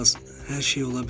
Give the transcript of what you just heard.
Hər şey ola bilər.